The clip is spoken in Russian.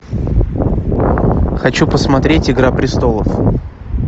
хочу посмотреть игра престолов